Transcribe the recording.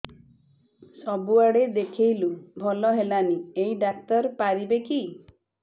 ସବୁଆଡେ ଦେଖେଇଲୁ ଭଲ ହେଲାନି ଏଇ ଡ଼ାକ୍ତର ପାରିବେ କି